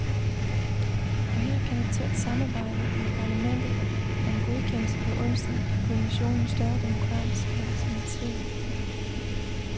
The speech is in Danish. Og her kan et tæt samarbejde med parlamentet, og en godkendelse på onsdag give kommissionen større demokratisk legitimitet.